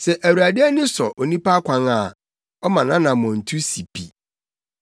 Sɛ Awurade ani sɔ onipa akwan a, ɔma nʼanammɔntu si pi.